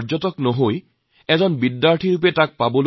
ভাৰতক নিজৰ হৃদয়ত প্ৰতিষ্ঠা কৰাৰ চেষ্টা কৰিছে